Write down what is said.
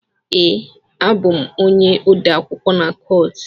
Ee, abụ m onye odeakwụkwọ na court.